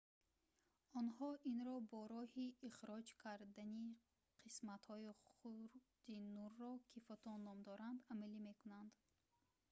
онҳо инро бо роҳи ихроҷ кардани қисматҳои хурди нурро ки фотон ном дорад амалӣ мекунанд